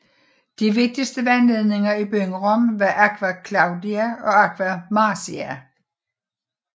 De vigtigste vandledninger i byen Rom var Aqua Claudia og Aqua Marcia